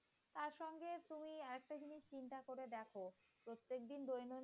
একদিন